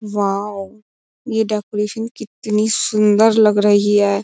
Wow ये decoration कितनी सुंदर लग रही है।